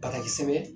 Banakisɛ sɛbɛn